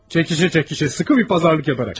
Çəkişə-çəkişə, sıxı bir bazarlıq edərək.